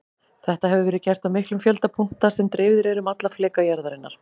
Þetta hefur verið gert á miklum fjölda punkta sem dreifðir eru um alla fleka jarðarinnar.